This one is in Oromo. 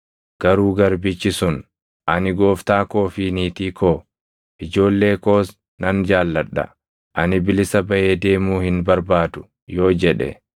“Garuu garbichi sun, ‘Ani gooftaa koo fi niitii koo, ijoollee koos nan jaalladha; ani bilisa baʼee deemuu hin barbaadu’ yoo jedhe,